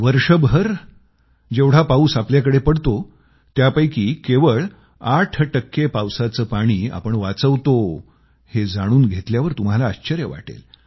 वर्षभर जेवढा पाऊस आपल्याकडे पडतो त्यापैकी केवळ आठ टक्के पावसाचे पाणी आपण वाचवतो हे जाणून घेतल्यावर तुम्हाला आश्चर्य वाटेल